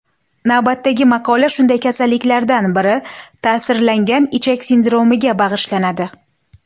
Navbatdagi maqola shunday kasalliklardan biri ta’sirlangan ichak sindromiga bag‘ishlanadi.